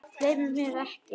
Gleymir mér ekki.